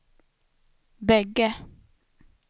bägge